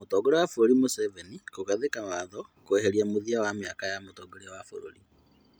Mũtongoria wa bũrũri Museveni kũgathĩka watho kweheria mũthia wa mĩaka ya Mũtongoria wa bũrũri